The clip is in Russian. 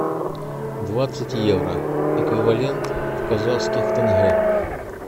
двадцать евро эквивалент в казахских тенге